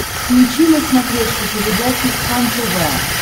включи на смотрешке передачу кхлм тв